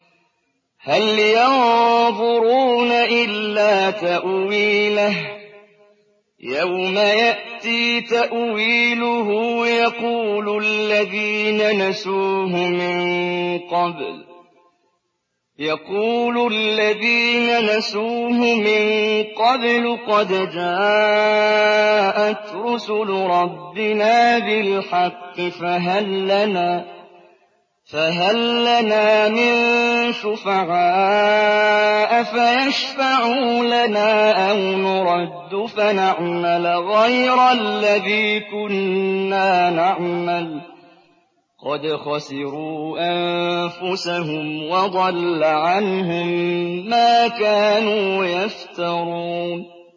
هَلْ يَنظُرُونَ إِلَّا تَأْوِيلَهُ ۚ يَوْمَ يَأْتِي تَأْوِيلُهُ يَقُولُ الَّذِينَ نَسُوهُ مِن قَبْلُ قَدْ جَاءَتْ رُسُلُ رَبِّنَا بِالْحَقِّ فَهَل لَّنَا مِن شُفَعَاءَ فَيَشْفَعُوا لَنَا أَوْ نُرَدُّ فَنَعْمَلَ غَيْرَ الَّذِي كُنَّا نَعْمَلُ ۚ قَدْ خَسِرُوا أَنفُسَهُمْ وَضَلَّ عَنْهُم مَّا كَانُوا يَفْتَرُونَ